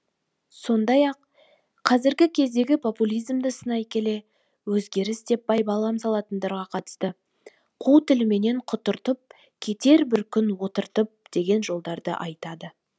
сондай ақ қазіргі кездегі популизмді сынай келе өзгеріс деп байбалам салатындарға қатысты қу тілменен құтыртып кетер бір күн отыртып деген жолдарды айтады